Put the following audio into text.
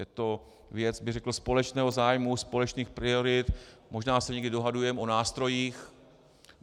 Je to věc řekl bych společného zájmu, společných priorit, možná se někdy dohadujeme o nástrojích.